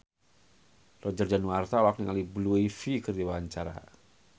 Roger Danuarta olohok ningali Blue Ivy keur diwawancara